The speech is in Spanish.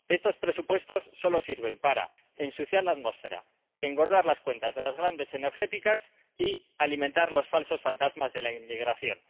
Estos presupuestos solo sirven para ensuciar la atmósfera, engordar las cuentas de las grandes empresas energéticas y alimentar los falsos fantasmas de la inmigración.